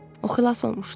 O xilas olmuşdu.